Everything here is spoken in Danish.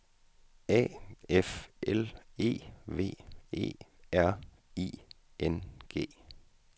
A F L E V E R I N G